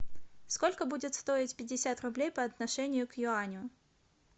сколько будет стоить пятьдесят рублей по отношению к юаню